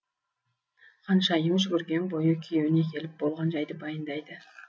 ханшайым жүгірген бойы күйеуіне келіп болған жайды баяндайды